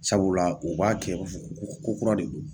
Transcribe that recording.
Sabula u b'a kɛ kokura de do.